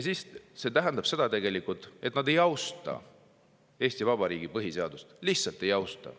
See tegelikult tähendab seda, et nad ei austa Eesti Vabariigi põhiseadust, lihtsalt ei austa.